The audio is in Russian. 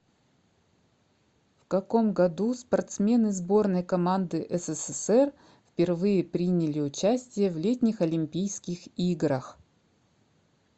в каком году спортсмены сборной команды ссср впервые приняли участие в летних олимпийских играх